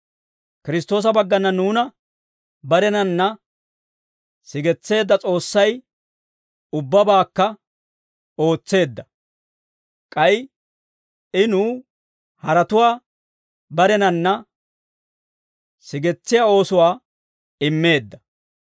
Kiristtoosa baggana nuuna barenanna sigetseedda S'oossay ubbabaakka ootseedda; k'ay I nuw haratuwaa barenanna sigetsiyaa oosuwaa immeedda.